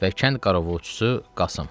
və kənd qaraovçusu Qasım.